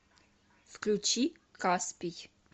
включи каспий